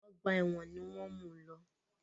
Ọgbà ẹ̀wọ̀n ni wọ́n mú u lọ.